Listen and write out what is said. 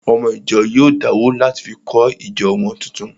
Ọmọ ìjọ náà yóò dáwó láti fi kọ́ ìjọ wọn tuntun